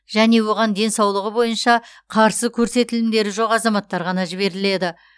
және оған денсаулығы бойынша қарсы көрсетілімдері жоқ азаматтар ғана жіберіледі